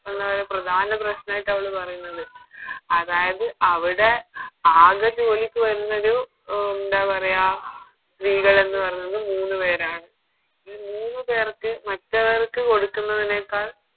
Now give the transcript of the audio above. എന്ന ഒരു പറയാ പ്രധാന പ്രശ്നായിട്ടവള് പറയുന്നത് അതായത് അവിടെ ആകെ ജോലിക്ക് വരുന്നൊരു എന്താ പറയാ സ്ത്രീകളെന്ന് പറയുന്നത് മൂന്ന് പേരാണ് ഈ മൂന്ന് പേർക്ക് മറ്റവർക്ക് കൊടുക്കുന്നതിനേക്കാൾ